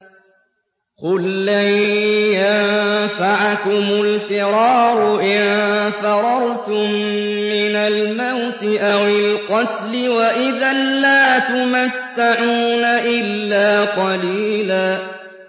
قُل لَّن يَنفَعَكُمُ الْفِرَارُ إِن فَرَرْتُم مِّنَ الْمَوْتِ أَوِ الْقَتْلِ وَإِذًا لَّا تُمَتَّعُونَ إِلَّا قَلِيلًا